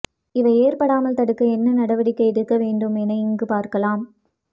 இவை ஏற்படாமல் தடுக்க என்ன நடவடிக்கை எடுக்க வேண்டும் என இங்கு பார்க்கலாம்